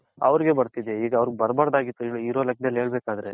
ಅವ್ರಿಗೆ ಬರ್ತಿದೆ ಈಗ ಅವರಿಗ್ ಬರ್ಬರ್ದ್ ಆಗಿತು ಇರೋ ಲೇಕದಲ್ಲಿ ಹೇಳ್ಬೇಕ್ ಆದ್ರೆ .